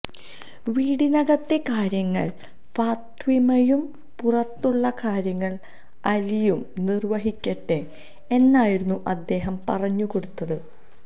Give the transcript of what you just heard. വീടിനകത്തെ കാര്യങ്ങൾ ഫാത്വിമയും പുറത്തുള്ള കാര്യങ്ങൾ അലിയും നിർവഹിക്കട്ടെ എന്നായിരുന്നു അദ്ദേഹം പറഞ്ഞുകൊടുത്തത്